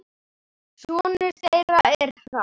Sonur þeirra er Hrafn.